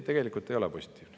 Tegelikult see ei ole positiivne.